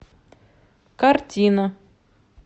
картина